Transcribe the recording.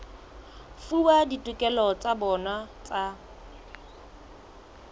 fuwa ditokelo tsa bona tsa